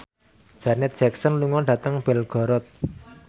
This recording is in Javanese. Janet Jackson lunga dhateng Belgorod